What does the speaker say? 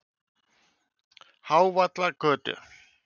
Hávallagötu